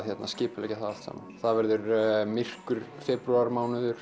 skipuleggja það allt saman það verður myrkur